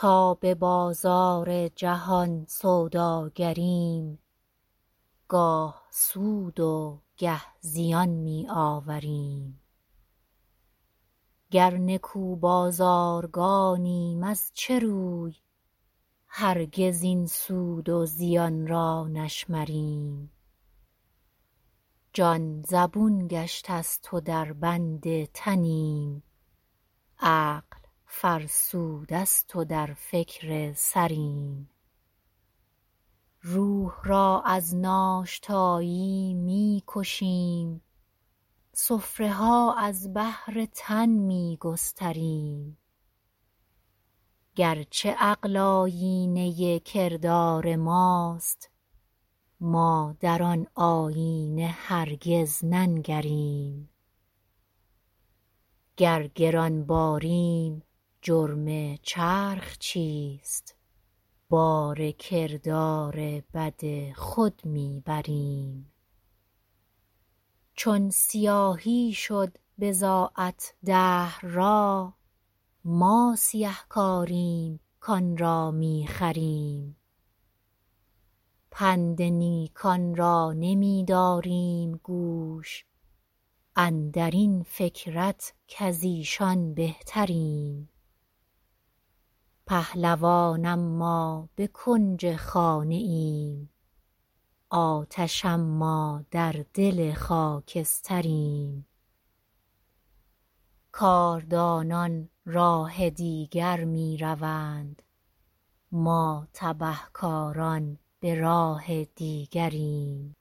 تا ببازار جهان سوداگریم گاه سود و گه زیان می آوریم گر نکو بازارگانیم از چه روی هرگز این سود و زیانرا نشمریم جان زبون گشته است و در بند تنیم عقل فرسوده است و در فکر سریم روح را از ناشتایی میکشیم سفره ها از بهر تن میگستریم گرچه عقل آیینه کردار ماست ما در آن آیینه هرگز ننگریم گر گرانباریم جرم چرخ چیست بار کردار بد خود میبریم چون سیاهی شده بضاعت دهر را ما سیه کاریم کانرا میخریم پند نیکان را نمیداریم گوش اندرین فکرت کازیشان بهتریم پهلوان اما بکنج خانه ایم آتش اما در دل خاکستریم کاردانان راه دیگر میروند ما تبه کاران براه دیگریم